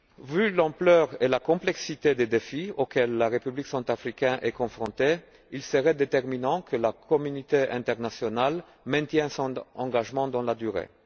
Vu l'ampleur et la complexité des défis auxquels la République centrafricaine est confrontée, il serait déterminant que la communauté internationale maintienne son engagement dans la durée.